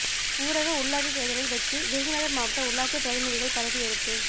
ஊரக உள்ளாட்சித் தேர்தலில் வெற்றி விருதுநகர் மாவட்ட உள்ளாட்சி பிரதிநிதிகள் பதவியேற்பு